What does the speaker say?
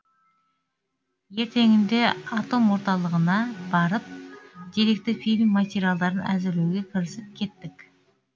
ертеңінде атом орталығына барып деректі фильм материалдарын әзірлеуге кірісіп кеттік